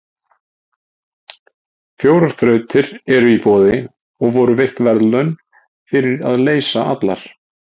Fjórar þrautir eru í boði og voru veitt verðlaun fyrir að leysa allar.